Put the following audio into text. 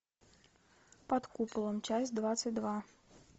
под куполом часть двадцать два